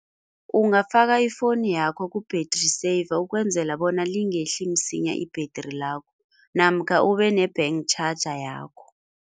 Ungafaka ifoni yakho ku-battery saver ukwenzela bona lingehli msinya ibhetri lakho namkha ube ne-bank charger yakho.